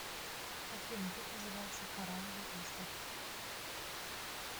афина как называется корраловый остров